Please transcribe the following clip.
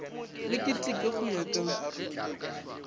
le ketekwe go ya ka